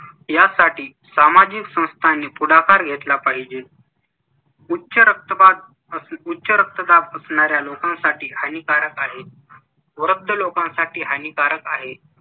यासाठी सामाजिक संस्थांनी पुढाकार घेतला पाहिजे उच्चरक्तदाब असणाऱ्या लोकांसाठी हानिकारक आहे. वृद्ध लोकांसाठी हानिकारक आहे.